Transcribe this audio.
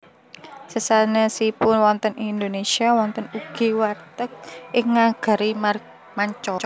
Sesanèsipun wonten ing Indonesia wonten ugi warteg ing nagari manca